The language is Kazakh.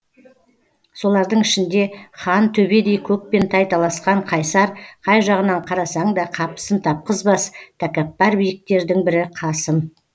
солардың ішінде хан төбедей көкпен тайталасқан қайсар қай жағынан қарасаң да қапысын тапқызбас тәкаппар биіктердің бірі қасым